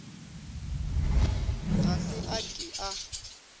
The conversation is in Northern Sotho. ga se a ke a